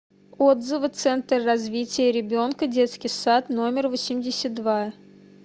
отзывы центр развития ребенка детский сад номер восемьдесят два